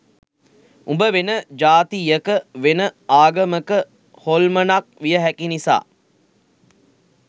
උඹ වෙන ජාතියක වෙන ආගමක හොල්මනක් විය හැකි නිසා